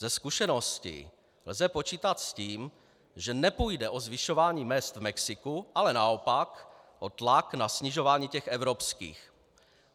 Ze zkušeností lze počítat s tím, že nepůjde o zvyšování mezd v Mexiku, ale naopak o tlak na snižování těch evropských.